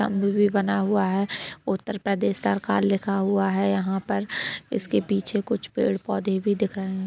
तंबू भी बना हुआ है उत्तर प्रदेश सरकार लिखा हुआ है यहा पर इसके पीछे कुछ पेड़ पौधे भी दिख रहे है।